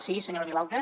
sí senyora vilalta